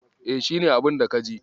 E, shi ne abunda ka ji.